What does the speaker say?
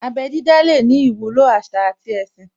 Abẹ́ dídá lè ní ìwúlò àṣà àti ẹ̀sìn